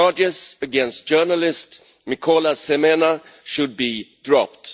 The charges against journalist Mykola Semena should be dropped.